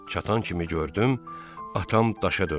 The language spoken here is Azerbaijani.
Çatan kimi gördüm atam daşa dönüb.